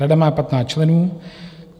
Rada má 15 členů.